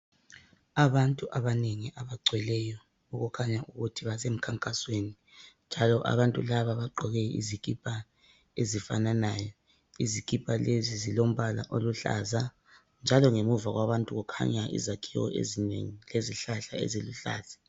Abantu abanengi abagcweleyo okukhanya ukuthi basemkhankasweni. Njalo abantu laba bagqoke izikhipha ezifananayo ,izikhipha lezi zilombala oluhlaza .Njalo ngemuva kwabantu kukhanya izakhiwo ezinengi lezihlahla eziluhlaza.